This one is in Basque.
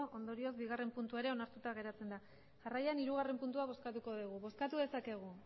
ondorioz bigarren puntua ere onartuta geratzen da jarraian hirugarren puntua bozkatuko dugu bozkatu dezakegu